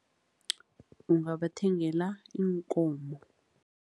Ngingabathengela iinkomo.